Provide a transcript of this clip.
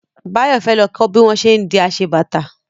Báyọ̀ fẹ́ lọ kọ́ bí wọ́n ṣé ń di aṣebàtà